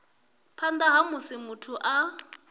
phanḓa ha musi muthu a